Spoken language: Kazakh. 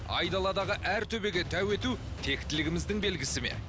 айдаладағы әр төбеге тәу ету тектілігіміздің белгісі ме